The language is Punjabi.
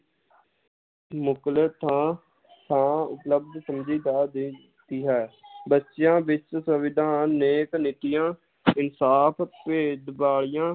ਮੁਕਲ ਥਾਂ ਥਾਂ ਉਪਲਬਧ ਦੇ ਦਿੱਤੀ ਹੈ ਬੱਚਿਆਂ ਵਿਚ ਸੰਵਿਧਾਨ ਨੇਕ ਨੇਕੀਆਂ ਇਨਸਾਫ ਭੇਦ ਵਾਲੀਆਂ,